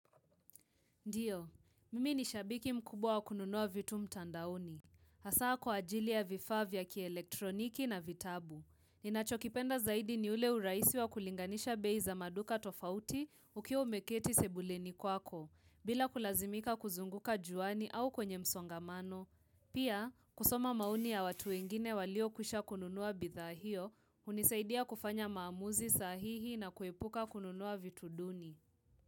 Ndiyo, mimi ni shabiki mkubwa wakununua vitu mtandaoni. Hasa kwa ajili ya vifaa vya kielektroniki na vitabu. Ninachokipenda zaidi ni ule uraisi wa kulinganisha bei za maduka tofauti ukiwa umeketi sebuleni kwako, bila kulazimika kuzunguka juani au kwenye msongamano. Pia, kusoma maoni ya watu wengine walio kusha kununua bidha hio, hunisaidia kufanya maamuzi sahihi na kuepuka kununua vitu duni.